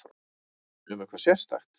Um eitthvað sérstakt?